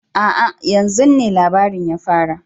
A'a! yan zun ne labarin ya fara